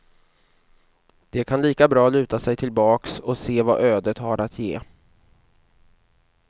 De kan lika bra luta sig tillbaks och se vad ödet har att ge.